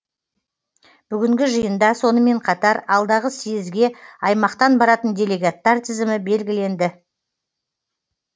бүгінгі жиында сонымен қатар алдағы съезге аймақтан баратын делегаттар тізімі белгіленді